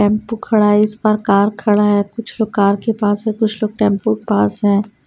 Tempo खड़ा है इस पर कार खड़ा है कुछ लोग कार के पास है कुछ लोग टेंपो के पास है।